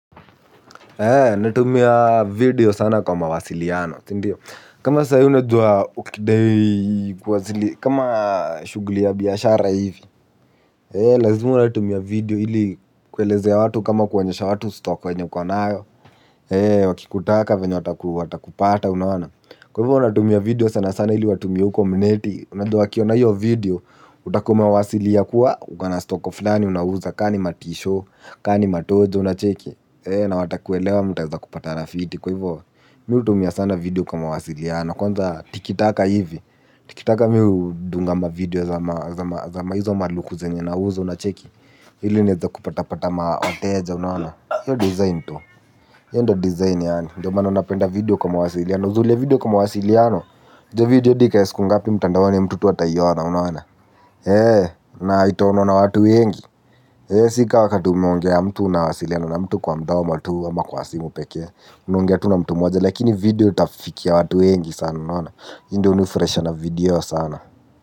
Natumia video sana kwa mawasiliano.sindio, kama saahi unajua ukidai kwa zili kama, shughli ya biashara hivi, lazima unatumia video ili, kuelezea watu kama kuonyesha watu stock enye ukonayo. Wakikutaka venye watakupata unaoana, kwa hivyo unatumia video sana sana ili watumie uko mneti. Unajua wa kiona hiyo video, utakua umewasilia kuwa, ukona stoco fulani unauza, kani matisho kani matoja unacheki. Na wata kuelewa mta eza kupatana rafiti. Kwa hivyo, miu tumia sana video kwa mawasiliano. Kwanza tikitaka hivi, Tikitaka miu dungama video za ma hizo maluku zenye nauza, unacheki. Ili niweze kupata pata ma wateja, unaona, hiyo design tu. Hiyo ndio design yangu, ndio maana unapenda video kwa mawasiliano. Uzuri ya video kwa mawasiliano, video hadi ikae siku ngapi kwa mtandaoni, mtu tu ataiona, unaona, eeh na itaonwa na watu wengi, eeh. Sika wakati umeongea mtu na wasiliano na mtu kwa mdomo tu ama kwa simu pekee. Naongea tu na mtu mmoja. Lakini video tafikia watu wengi sana. Unaona, hii ndio unifurahisha na video sana.